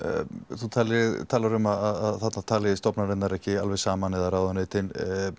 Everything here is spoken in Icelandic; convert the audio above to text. þú talar um að þarna tali stofnanirnar ekki alveg saman eða ráðuneytin